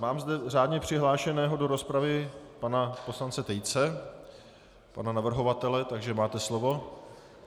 Mám zde řádně přihlášeného do rozpravy pana poslance Tejce, pana navrhovatele, takže máte slovo.